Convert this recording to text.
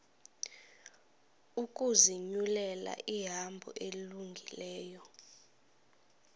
ukuzinyulela ihambo elungileyo